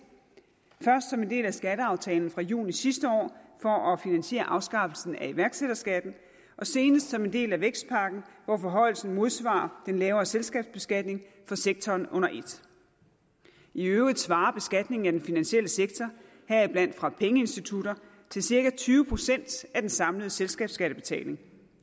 først som en del af skatteaftalen fra juni sidste år for at finansiere afskaffelsen af iværksætterskatten og senest som en del af vækstpakken hvor forhøjelsen modsvarer den lavere selskabsbeskatning for sektoren under et i øvrigt svarer beskatningen af den finansielle sektor heriblandt fra pengeinstitutterne til cirka tyve procent af den samlede selskabsskattebetaling